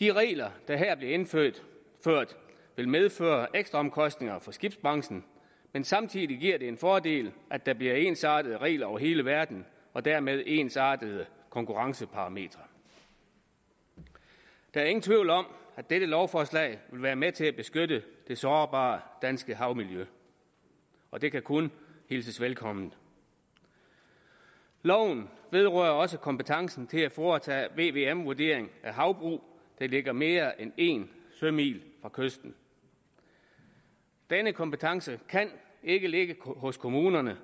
de regler der her bliver indført vil medføre ekstraomkostninger for skibsbranchen men samtidig giver det en fordel at der bliver ensartede regler over hele verden og dermed ensartede konkurrenceparametre der er ingen tvivl om at dette lovforslag vil være med til at beskytte det sårbare danske havmiljø og det kan kun hilses velkommen loven vedrører også kompetencen til at foretage en vvm vurdering af havbrug der ligger mere end en sømil fra kysten denne kompetence kan ikke ligge hos kommunerne